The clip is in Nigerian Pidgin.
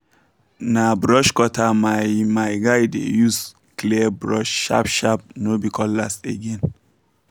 na brush cutter my my guy dey use clear bush sharp sharp no be cutlass again